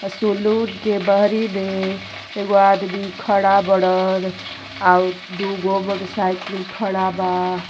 मे एगो आदमी खड़ा बाड़न और दुगो मोटरसाइकिल खड़ा बा।